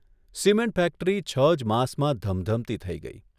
Cement factory છ જ માસમાં ધમધમતી થઇ ગઇ.